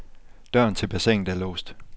Døren til bassinet er låst.